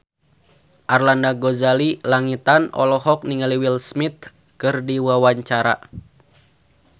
Arlanda Ghazali Langitan olohok ningali Will Smith keur diwawancara